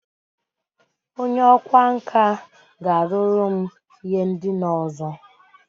Onye ọkwá nkà ga-arụru m ihe ndina ọzọ